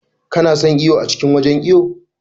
Ka na son iwo a cikin wajen iwo?